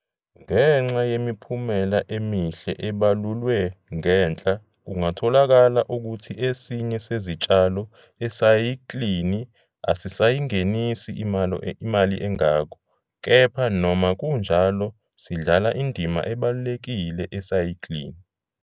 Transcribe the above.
Ngenxa yemiphumela emihle ebalulwe ngenhla kungatholakala ukuthi esinye sezitshalo esayikilini asisayingenisi imali engako, kepha noma kunjalo sidlala indima ebalulekile esayiklini.